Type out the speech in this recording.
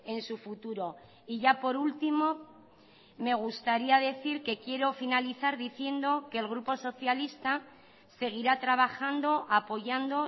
en su futuro y ya por último me gustaría decir que quiero finalizar diciendo que el grupo socialista seguirá trabajando apoyando